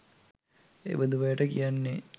එබඳු අයට කියන්නේ